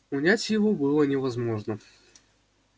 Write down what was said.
унять его было невозможно